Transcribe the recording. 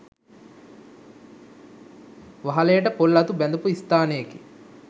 වහලයට පොල් අතු බැඳපු ස්ථානයකි.